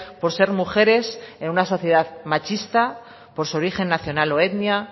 por ser mujeres en una sociedad machista por su origen nacional o etnia